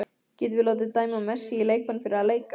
Getum við látið dæma Messi í leikbann fyrir að leika?